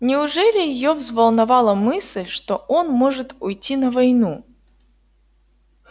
неужели её взволновала мысль что он может уйти на войну